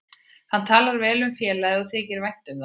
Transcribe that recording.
Hann talar vel um félagið og þykir vænt um það.